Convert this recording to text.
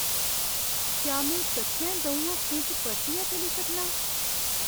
क्या में सच्चैं द'ऊं हफ्तें च परतियै चली सकनां?